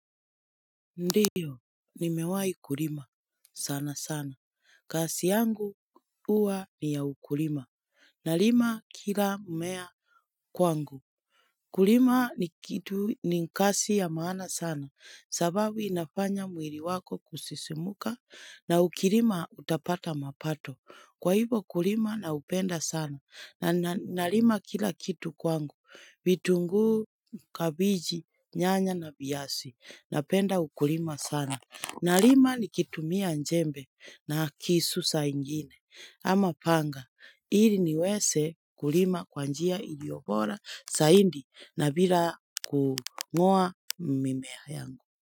Ndiyo, nimewai kulima. Sana sana. Kasi yangu uwa ni ya ukulima. Nalima kila mmea kwangu. Kulima ni kitu ni kasi ya maana sana. Sababu nafanya mwili wako kusisimuka na ukulima utapata mapato. Kwa hivo kulima na upenda sana, na unalima kila kitu kwangu, vitungu kabiji, nyanya na viasi, napenda ukulima sana. Nalima ni kitumia jembe na kisu saa ingine, ama panga, ili niwese kulima kwa njia iliobora saindi na bila kungoa mimea yangu.